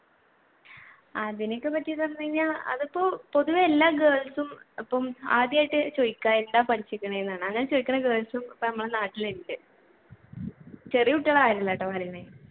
അതിനെയൊക്കെ പറ്റി പറഞ്ഞുകഴിഞ്ഞ അതിപ്പോ പൊതുവെ എല്ലാ girls ഉം ആദ്യമായിട്ട് ചോദിക്കുക എന്താ അങ്ങനെ ചോദിക്കുന്ന girls ഉം ഇപ്പൊ നമ്മുടെ നാട്ടിൽ ഉണ്ട് ചെറിയ കുട്ടികൾ